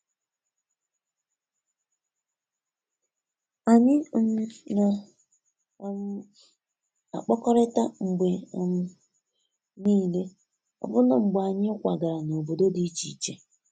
Anyi um na um akpọkọrita mgbe um nile, ọbụna mgbe anyi kwagara n'obodo di iche iche